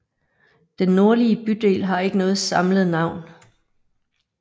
Den nordlige bydel har ikke noget samlet navn